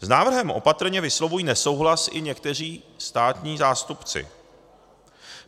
S návrhem opatrně vyslovují nesouhlas i někteří státní zástupci.